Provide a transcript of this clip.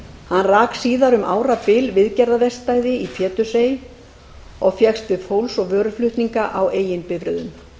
hann rak síðar um árabil viðgerðaverkstæði í pétursey og fékkst við fólks og vöruflutninga á eigin bifreiðum